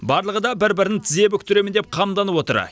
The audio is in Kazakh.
барлығы да бір бірін тізе бүктіремін деп қамданып отыр